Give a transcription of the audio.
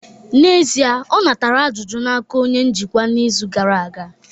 N'ezie, ọ natara ajụjụ n'aka onye njikwa izu gara aga